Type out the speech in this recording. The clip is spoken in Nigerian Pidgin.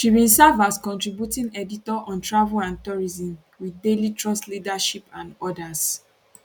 she bin serve as contributing editor on travel and tourism wit daily trust leadership and odas